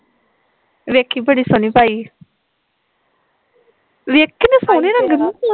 ਵੇਖੀ ਬੜੀ ਸੋਹਣੀ ਪਾਈ ਵੇਖ ਕਿੰਨੀ ਸੋਹਣੀ ਲੱਗਣ ਸੀ